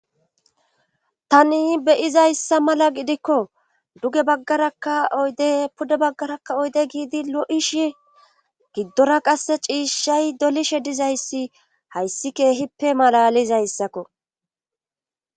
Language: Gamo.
tani beyizayssa mala gidikko duge baggaraka oyde puda baggarakka oyde giidi lo7ishi giddora qasse ciishshay dolishe dizayssi hayssi keehippe malalizayssakko